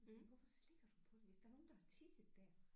Men hvorfor slikker du på det hvis der er nogen der har tisset der